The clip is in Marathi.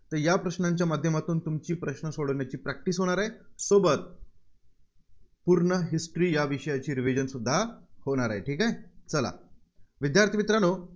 या प्रश्नांच्या माध्यमातून तुमची प्रश्न सोडवण्याची Practice होणार आहे. सोबत पूर्ण history विषयाची revision सुद्धा होणार आहे. ठीक आहे? चला विद्यार्थी मित्रांनो